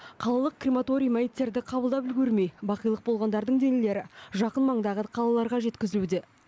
қалалық крематорий мәйіттерді қабылдап үлгермей бақилық болғандардың денелері жақын маңдағы қалаларға жеткізілуде